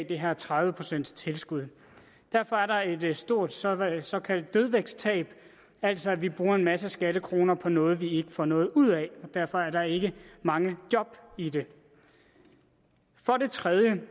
det her tredive procentstilskud derfor er der et stort såkaldt såkaldt dødvægtstab altså at vi bruger en masse skattekroner på noget vi ikke få noget ud af derfor er der ikke mange job i det for det tredje